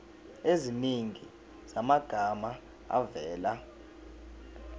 eziningi zamagama avela